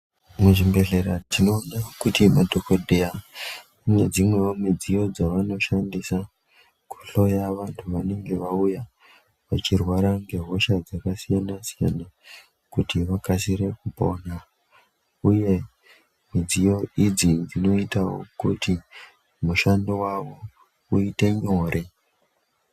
Muzvibhedheya tinoona kuti madhogodheya ane dzimwevo midziyo dzavanoshandisa kuhloya vantu vanenge vauya vachirwara ngehosha dzakasiyana-siyana. Kuti vakasire kupona, uye midziyo idzi dzinotavo kuti mushando vavo uite nyore.